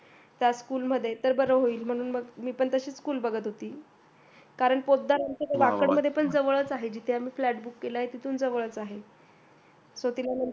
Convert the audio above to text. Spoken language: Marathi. त्याच school मध्ये तर बर होईल म्हणून मी पण तशीच school बघत होती. कारण पोतदार यांचं वाकड मध्ये पण जवळच आहे जिथे आम्ही flat book केलाय तिथून जवळच आहे. तर तिला